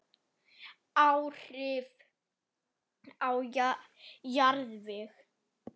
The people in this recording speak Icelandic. Áhrif á jarðveg